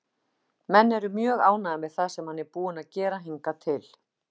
Menn eru mjög ánægðir með það sem hann er búinn að gera hingað til.